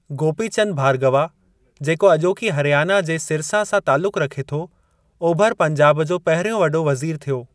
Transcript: गोपी चंद भार्गवा, जेको अॼोकी हरयाना जे सिरसा सां तालुकु रखे थो, ओभर पंजाब जो पहिरियों वॾो वज़ीर थियो।